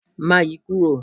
Má yi kúrò.!